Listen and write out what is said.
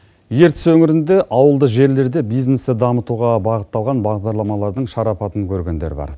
ертіс өңірінде ауылды жерлерде бизнесті дамытуға бағытталған бағдарламаларлың шарапатын көргендер бар